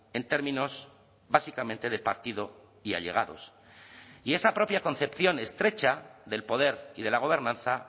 en términos básicamente de partido y allegados y esa propia concepción estrecha del poder y de la gobernanza